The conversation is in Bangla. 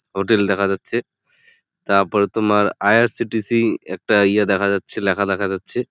হোটেল দেখা যাচ্ছে | তারপরে তোমার আই. আর. সি.টি.সি. একটা ইয়ে দেখা যাচ্ছে লেখা দেখা যাচ্ছে ।